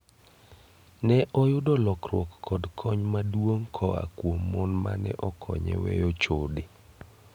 Neoyudo lokruok kod kony maduong koa kuom mon mane okonye weyo chode.